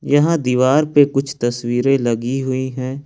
यहां दीवार पे कुछ तस्वीरें लगी हुई है।